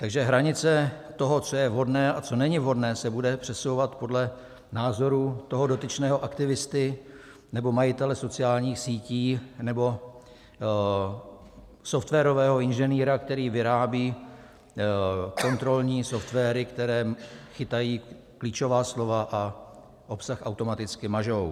Takže hranice toho, co je vhodné a co není vhodné, se bude přesouvat podle názoru toho dotyčného aktivisty nebo majitele sociálních sítí nebo softwarového inženýra, který vyrábí kontrolní softwary, které chytají klíčová slova a obsah automaticky mažou.